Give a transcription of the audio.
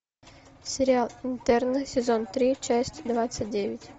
сериал интерны сезон три часть двадцать девять